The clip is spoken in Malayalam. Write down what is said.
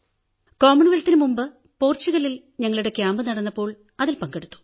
കോമൺവെൽത്തിനു മുമ്പ് പോർച്ചുഗലിൽ ഞങ്ങളുടെ ക്യാമ്പു നടന്നപ്പോൾ അതിൽ പങ്കെടുത്തു